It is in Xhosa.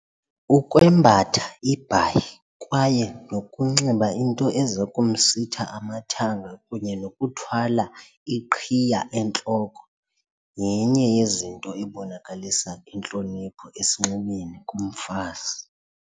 Ukwembatha ibhayi kwaye nokunxiba into eza kumsitha amathanga kunye nokuthwala iqhiya entloko yenye yezinto ebonakalisa intlonipho esinxibeni kumfazi.